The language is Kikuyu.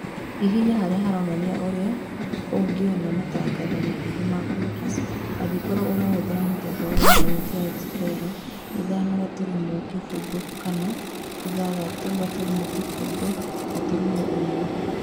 Hihinya harĩa haronania ũria ũngiona matangatho makuhĩ ma cookies angĩkorwo ũrahũthĩra mũthemba wa intanenti ya explorer ithano gaturumo kĩfũgũ kana ithathatũ gaturumo kĩfũgũ gaturumo ĩmwe